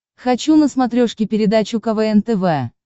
хочу на смотрешке передачу квн тв